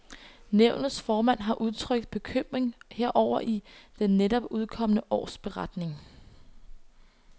Nævnets formand har udtrykt bekymring herover i den netop udkomne årsberetning.